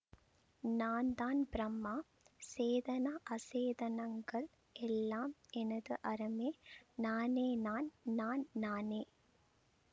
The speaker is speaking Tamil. நான் தான் பிரம்மா சேதன அசேதனங்கள் எல்லாம் எனது அறமே நானே நான் நான் நானே